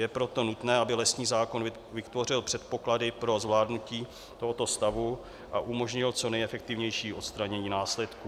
Je proto nutné, aby lesní zákon vytvořil předpoklady pro zvládnutí tohoto stavu a umožnil co nejefektivnější odstranění následků.